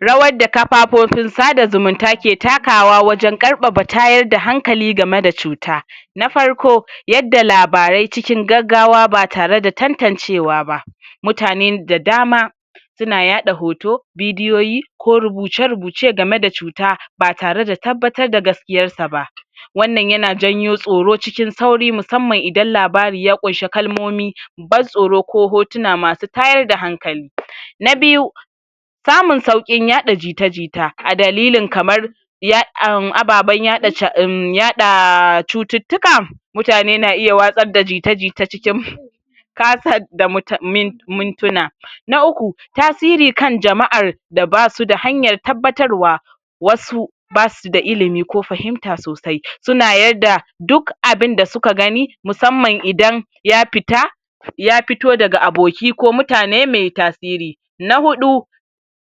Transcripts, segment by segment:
rawar da kafafofin sada zumunta ke takawa wajan karfafa tayar da hankali gameda cuta na farko yada labaraai cikin gaggawa ba tare da tantancewa ba mutanen da dama suns yaɗa hoto bidiyoyi ko rubuce rubuce gameda cuta batere da tabbatar da gaskiyar sa ba wannan ya janyo tsoro cikin sauri musamman idan labari ya kunshi kalmomi ban tsoro ko hotuna masu tayar da hankali. na biyu samun sauƙin yaɗa jita jita a dalilin kamar [ya um] ababan yaɗa ca um yaɗaa cututtuka mutane na iya watsad da jite jite cikin kasad da mu[um] mintuna, na uku tasiri kan jama'ar da absu da hanyar tabbatarwa wasu basu da ilim ko fahimta sosai, suna yadda duk abinda suka gani musamman idan ya pita ya pito daga aboki ko mutane me tasiri na huɗu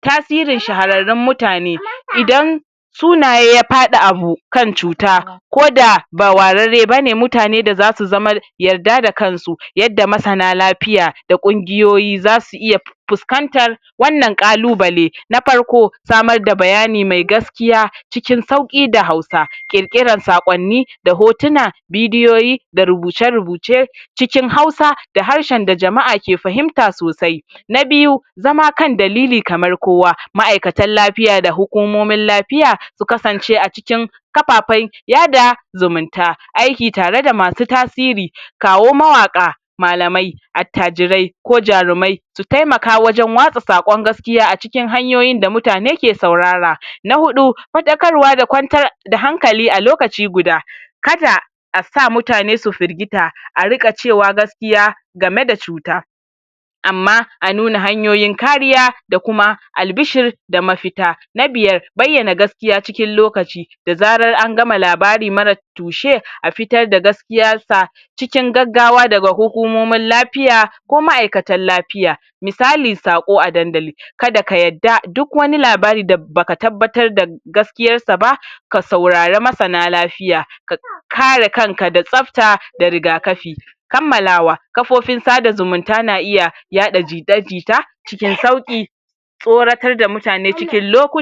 tasirin shahararun mutane idan sunaye ya faɗi a hu[um] kan cuta koda ba warare bane mutane da zasu zama yarda da kansu, yanda masana lafiya da ƙungiyoyi zasu iya pu, fuskantar wanan ƙalubale, na farko samar da bayani mai gaskiya cikin sauƙi da hausa ƙirƙiran saƙonni da hotuna bidiyoyi da rubuce rubuce da cikin hausa da harshen da jama'a ke fahimta sosai na biyu zama kan dalili kamar kowa, ma'ikatar lafiya da hukumomin lafiya su kasance acikin kapapai yada aiki tare da mausu tasiri kawo mawaka malamai attajirai ko jarumai su temaka wajan watsa saƙon gas kiya acikin hanyayin da mutane ka saurara, na huɗu faɗakarwa da kwantar da hankali alokaci guda kada asa mutane su firgita arika cewa gaskiya game da cuta amma a nuna hanyoyin kariya da kuma albishir da mafita na biyar bayyana gas kiya cikin likaci da zarar angama labari marar tushe afitar da gaskiyar sa cikin gaggawa daga hukumomin lafiya ko ma'ikatan lapiya misali saƙo a dandali kada ka yarda duk wani labari da baka tabbata dar gaskiyar saba, ka saurari masana lafiya ka kare kanka da tsafta da riga kafi kamalawa kafofin sada zumunta na iya yaɗa jita jita cikin sauƙi tsoratar da mutane cikin lokut